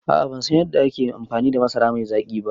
A'a bansan yadda ake amfani da masara mai zaƙi ba